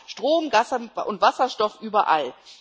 Wir brauchen Strom, Gas und Wasserstoff überall.